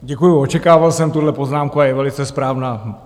Děkuju, očekával jsem tuhle poznámku a je velice správná.